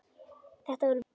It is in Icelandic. Þetta var vinur minn.